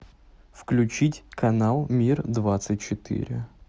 включить канал мир двадцать четыре